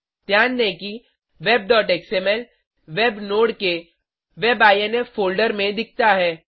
ध्यान दें कि webएक्सएमएल वेब नोड के web आईएनफ फोल्डर में दिखता है